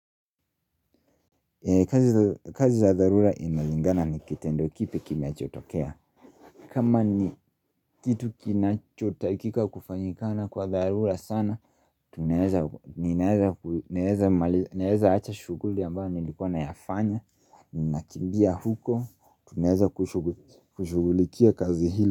Kazi za dharura inalingana ni kitendo kipi kinachotokea kama ni kitu kinachotakika kufanyikana kwa dharura sana Tunaeza ninaeza ku naeza acha shughuli ambayo nilikuwa nayafanya Ninakimbia huko, tunaeza kushughulikia kazi hili.